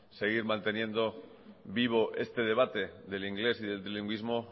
seguir manteniendo vivo este debate del inglés y del trilingüismo